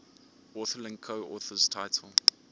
authorlink coauthors title